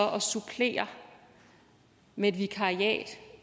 at supplere med et vikariat